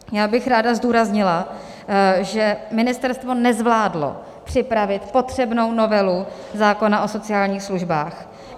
Já bych ráda zdůraznila, že ministerstvo nezvládlo připravit potřebnou novelu zákona o sociálních službách.